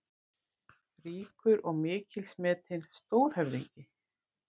Ríkur og mikils metinn: Stórhöfðingi.